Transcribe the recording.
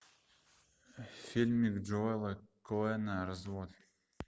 фильмик джоэла коэна развод